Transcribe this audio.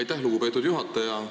Aitäh, lugupeetud juhataja!